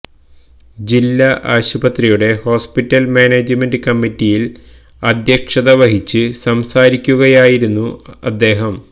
ജില്ലാ ആശുപത്രിയുടെ hospital management കമ്മിറ്റിയില് അദ്ധ്യക്ഷത വഹിച്ച് സംസാരിക്കുകയായിരുന്നു അദ്ദേഹം